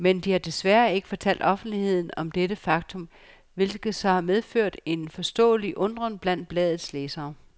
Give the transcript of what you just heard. Men de har desværre ikke fortalt offentligheden om dette faktum, hvilket så har medført en forståelig undren blandt bladets læsere.